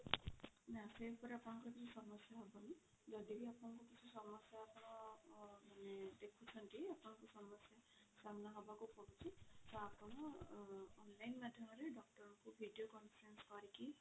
ନା ସେ ଉପରେ ଆପଣଙ୍କର କିଛି ସମସ୍ୟା ହବନି ଯଦି ବି ଆପଣ ଙ୍କୁ କିଛି ସମସ୍ୟା ର ଦେଖୁଛନ୍ତି ଆପଣଙ୍କୁ ସମସ୍ୟା ସାମ୍ନା ହବାକୁ ପଡୁଛି ତ ଆପଣ online ମାଧ୍ୟମରେ doctor ଙ୍କୁ video conference କରିକି